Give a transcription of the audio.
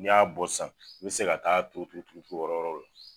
N'i y'a bɔ sisan i bɛ se ka taa turu turu turu yɔrɔ wɛrɛw la.